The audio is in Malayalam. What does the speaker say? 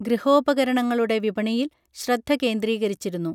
ഗൃഹോപകരണങ്ങളുടെ വിപണിയിൽ ശ്രദ്ധ കേന്ദ്രീകരിച്ചിരുന്നു